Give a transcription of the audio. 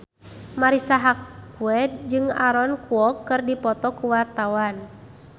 Marisa Haque jeung Aaron Kwok keur dipoto ku wartawan